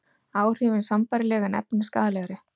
Áhrifin sambærileg en efnin skaðlegri